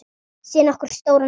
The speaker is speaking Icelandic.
Sé nokkuð stóran sal.